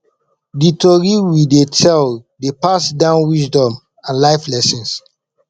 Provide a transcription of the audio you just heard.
di tori we dey tell dey pass down wisdom and life lessons